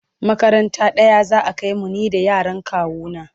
makaranta ɗaya za'a kaimu ni da yaran kawu na